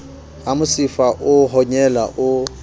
ha mosifa o honyela o